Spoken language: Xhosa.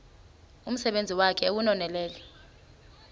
umsebenzi wakhe ewunonelele